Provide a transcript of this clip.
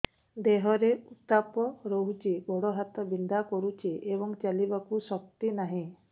ଦେହରେ ଉତାପ ରହୁଛି ଗୋଡ଼ ହାତ ବିନ୍ଧା କରୁଛି ଏବଂ ଚାଲିବାକୁ ଶକ୍ତି ନାହିଁ